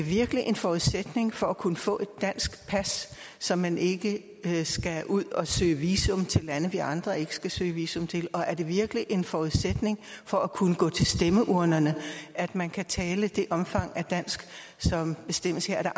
det virkelig en forudsætning for at kunne få et dansk pas så man ikke skal ud at søge visum til lande vi andre ikke skal søge visum til og er det virkelig en forudsætning for at kunne gå til stemmeurnerne at man kan tale det omfang af dansk som bestemmes her er der